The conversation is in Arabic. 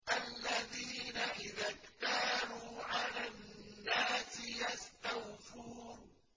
الَّذِينَ إِذَا اكْتَالُوا عَلَى النَّاسِ يَسْتَوْفُونَ